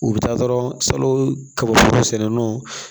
U bɛ taa dɔrɔn salon kaba foro sɛnɛnenw